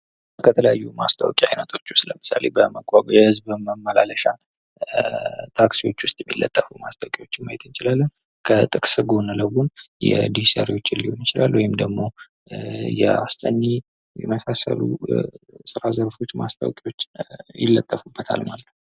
ከተለያዩ ማስታወቂያዎች አይነቶች ውስጥ ለምሳሌ በመጓጓዣ በህዝብ ማመላለሻ ታክሲዎች ላይ የሚለጠፉትን መመየት እንችላለን። ከጥቅስ ጎን ለጎን የዲሽ ሰሪዎች ሊሆን ይችላል ወይም ደግሞ የአስጠኚ የመሳሰሉ የስራ ዘርፎች ማስታወቂያዎች ይለጠፉበታል ማለት ነው።